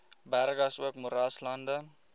berge asook moeraslande